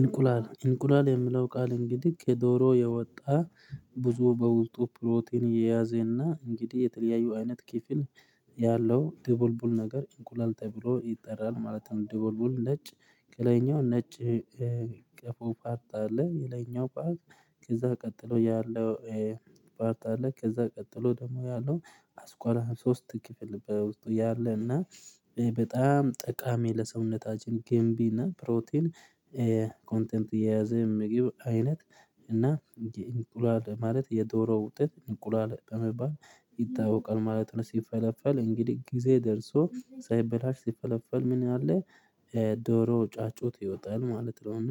እንቁላል እንቁላል የሚለው ቃል እንግዲህ የዶሮ የወጣ ብዙ በውልጡ ፕሮቲን እየያዘና እንግዲህ የተለያየ አይነት ክፍል ያለው ደቡልቡል ነገር እንቁላል ተብሎ ይጠራል ማለትም ነው። ደቡልቡል ነጭ ከላኛው ነጭ ቀፎ ፓርት አለ የላይኛው ፓርት ከዛ ቀጥሎ ያለው ፓርት አለ። ከዛ ቀጥሎ ደግሞ ያለው አስኳላ ሶስት ክፍል በውስጡ ያለ እና በጣም ጠቃሚ ለሰውነታችን ገንቢ እና ፕሮቲን። ኮንተንት የያዘ ምግብ አይነት እና የ እንቁላል ማለት የዶሮ ውጤት እንቁላል በመባል ይታወቃል ማለት ነው። ሲፈለፈል እንግዲህ ጊዜ ደርሶ ሳይበላሽ ሲፈለፈል ምን አለ? ዶሮ ጫጩት ይወጣል ማለት ነውና